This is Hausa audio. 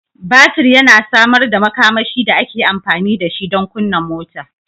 Batir yana samar da makamashi da ake amfani da shi don kunna mota